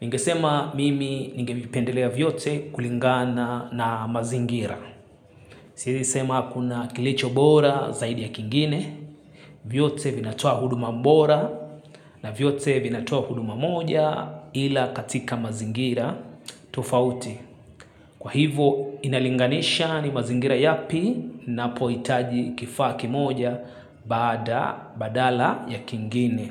nigesema mimi ngevipendelea vyote kulingana na mazingira. Sisi sema kuna kilicho bora zaidi ya kingine, vyote vinatoa huduma bora na vyote vinatua huduma moja ila katika mazingira tofauti. Kwa hivo inalinganisha ni mazingira yapi na poitaji kifaki moja bada badala ya kingine.